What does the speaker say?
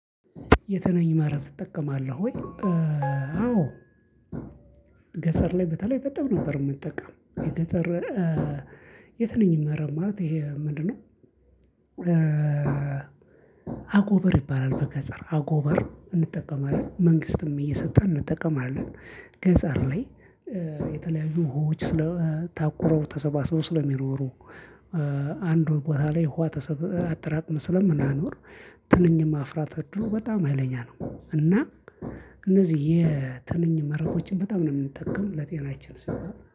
የትንኝ ማርን ትጠቀማለህ ወይ? አዎ ገጠር ላይ በተለይ በጣም ነበር የምጠቀመው። የገጠር የትንኝ መረብ ማለት ይሄ ምንድነው? አጎበር ይባላል በገጠር አጎበር እንጠቀማለን መንግስትም እየሰጠን እንጠቀማለን። ገጠር ላይ የተለያዩ ህዎች ታቁረው ተሰባስበው ስለሚኖሩ። አንዱ ቦታ ላይ ውሃ አጠራቅመን ስለምናኖር ትንኝም አፍራ ከድሮ በጣም ሀይለኛ ነው እና እነዚህ የትንኝ መረቦችን በጣም ነው የምንጠቀም ለጤናችን ሲሆን